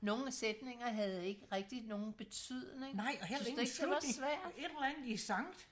nogen sætninger havde ikke rigtig nogen betydning synes du ikke det var svært